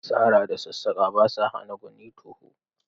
Sara da sassaƙa ba sa hana ganin to hu.